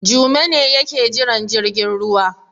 Jume ne yake jiran jirgin ruwa.